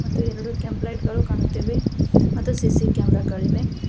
ಮತ್ತು ಎರಡು ಕೆಂಪ್ ಲೈಟ್ ಗಳು ಕಾಣುತ್ತಿವೆ ಮತ್ತು ಸಿ_ಸಿ ಕ್ಯಾಮೆರಾ ಗಳಿವೆ.